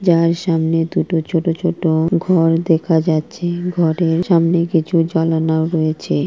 যার সামনে দুটো ছোট ছোট ঘর দেখা যাচ্ছে ঘরের সামনে কিছু জালানাও রয়েছে।